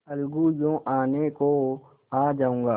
अलगूयों आने को आ जाऊँगा